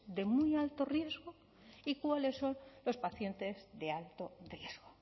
de muy alto riesgo y cuáles son los pacientes de alto riesgo